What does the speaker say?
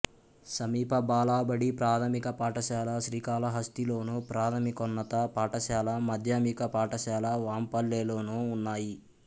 సమీప బాలబడి ప్రాథమిక పాఠశాల శ్రీకాళహస్తి లోను ప్రాథమికోన్నత పాఠశాల మాధ్యమిక పాఠశాల వాంపల్లెలోనూ ఉన్నాయి